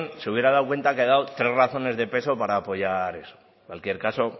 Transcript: se hubiera dado cuenta que he dado tres razones de peso para apoyar eso en cualquier caso